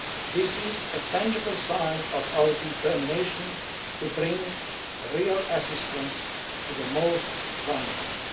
This is a tangible sign of our determination to bring real assistance to the most vulnerable.